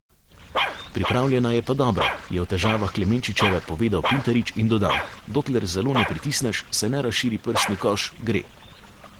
Pripravljena je pa dobro,' je o težavah Klemenčičeve povedal Pintarič in dodal: 'Dokler zelo ne pritisneš, se ne razširi prsni koš, gre.